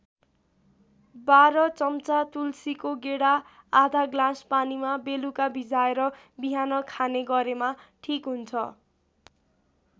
१२ चम्चा तुलसीको गेडा आधा ग्लास पानीमा बेलुका भिजाएर बिहान खाने गरेमा ठिक हुन्छ।